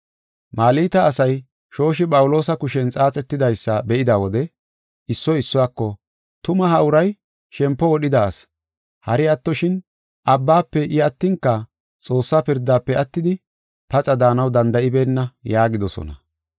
Malta asay shooshi Phawuloosa kushen xaaxetidaysa be7ida wode issoy issuwako, “Tuma ha uray shempo wodhida asi; hari attoshin abbaafe I attinka xoossa pirdafe attidi paxa daanaw danda7ibeenna” yaagidosona.